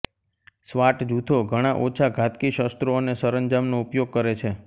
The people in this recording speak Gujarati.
સ્વાટ જૂથો ઘણાં ઓછા ઘાતકી શસ્ત્રો અને સંરજામનો ઉપયોગ કરે છે